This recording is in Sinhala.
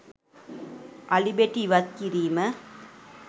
අලි බෙටි ඉවත් කිරීම